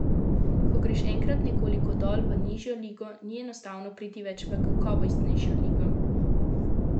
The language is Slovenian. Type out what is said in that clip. Ko greš enkrat nekoliko dol, v nižjo ligo, ni enostavno priti več v kakovostnejšo ligo.